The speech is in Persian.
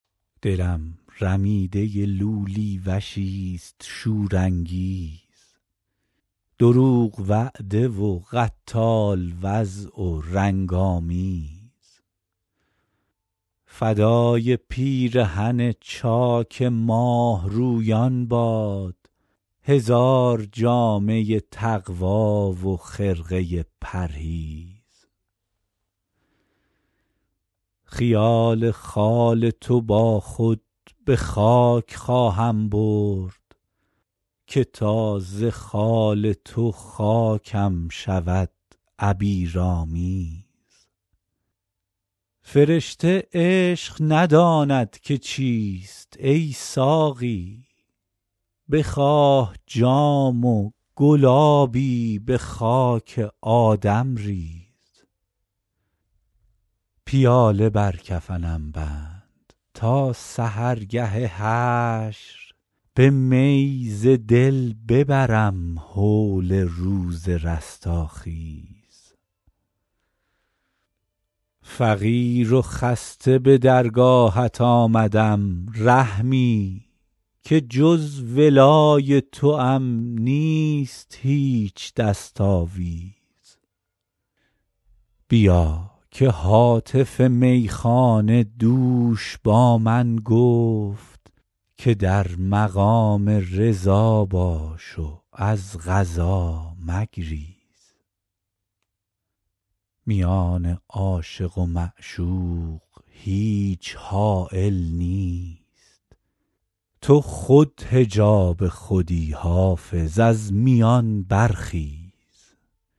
دلم رمیده لولی وشیست شورانگیز دروغ وعده و قتال وضع و رنگ آمیز فدای پیرهن چاک ماهرویان باد هزار جامه تقوی و خرقه پرهیز خیال خال تو با خود به خاک خواهم برد که تا ز خال تو خاکم شود عبیرآمیز فرشته عشق نداند که چیست ای ساقی بخواه جام و گلابی به خاک آدم ریز پیاله بر کفنم بند تا سحرگه حشر به می ز دل ببرم هول روز رستاخیز فقیر و خسته به درگاهت آمدم رحمی که جز ولای توام نیست هیچ دست آویز بیا که هاتف میخانه دوش با من گفت که در مقام رضا باش و از قضا مگریز میان عاشق و معشوق هیچ حایل نیست تو خود حجاب خودی حافظ از میان برخیز